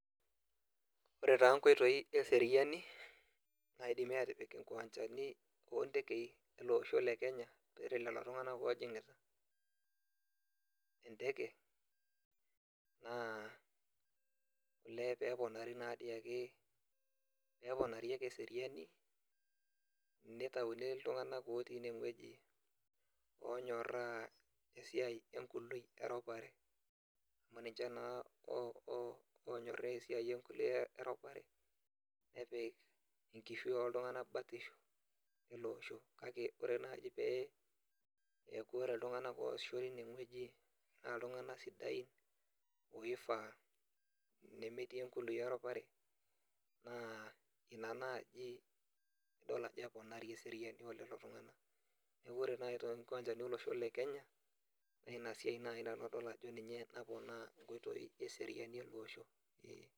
Ore taa koitoi eseriani naidimi atipik kiwanjani oo tekei ele osho le kenya tialo lelo tunganak ojingita eteke naa: Olee pee epinari nadoi ake pee eponari eseriani, Nitayuni iltungana otii ine wueji onyoraa esiai ekului we ropare, amu ninche nadoi onyoraa enkului we ropare, nepik enkishui oltungana batisho le osho, kake ore pee eku iltungana oosisho teine wueji na iltungana sidai, oifaa nemetii enkului oeropare naa ina naaji eponari eseriani elelo tungana. Neaku ore naaji to kiwanjani olosho le Kenya na ina siai naaji nanu adol ajo ninye naponaa koitoi eseriani ele osho.